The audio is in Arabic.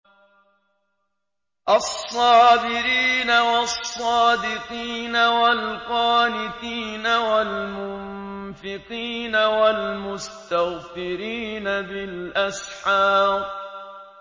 الصَّابِرِينَ وَالصَّادِقِينَ وَالْقَانِتِينَ وَالْمُنفِقِينَ وَالْمُسْتَغْفِرِينَ بِالْأَسْحَارِ